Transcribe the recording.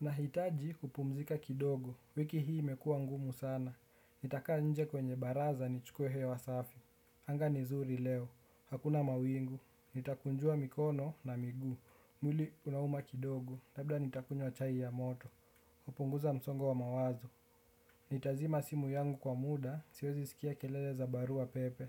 Nahitaji kupumzika kidogo. Wiki hii imekua ngumu sana. Nitakaa nje kwenye baraza nichukue hewa safi. Anga ni nzuri leo hakuna mawingu nitakunjua mikono na miguu. Mwili unauma kidogo, labda nitakunywa chai ya moto, kupunguza msongo wa mawazo. Nitazima simu yangu kwa muda, siwezi skia kelele za barua pepe.